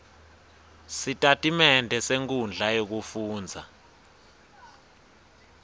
sitatimende senkhundla yekufundza